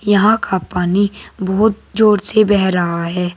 यहां का पानी बहुत जोर से बह रहा है।